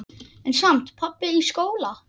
En samt- pabbi í skóla?